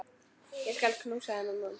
Ég skal knúsa þennan mann!